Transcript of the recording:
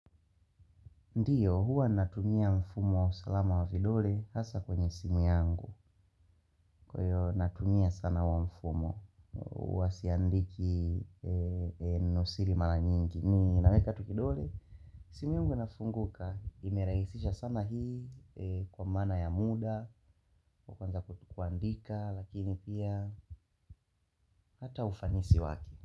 Ndiyo huwa natumia mfumo usalama wa vidole hasa kwenye simu yangu, kwa hiyo natumia sana huo mfumo. Huwa siandiki neno siri mara nyingi ninaweka tu kidole. Simu yangu inafunguka imerahisisha sana hii kwa maana ya muda kwanza kuandika lakini pia hata ufanisi wake.